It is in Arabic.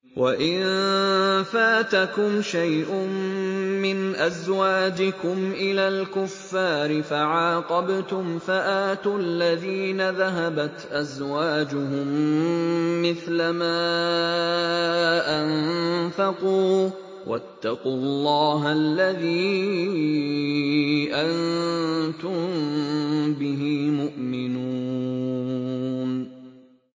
وَإِن فَاتَكُمْ شَيْءٌ مِّنْ أَزْوَاجِكُمْ إِلَى الْكُفَّارِ فَعَاقَبْتُمْ فَآتُوا الَّذِينَ ذَهَبَتْ أَزْوَاجُهُم مِّثْلَ مَا أَنفَقُوا ۚ وَاتَّقُوا اللَّهَ الَّذِي أَنتُم بِهِ مُؤْمِنُونَ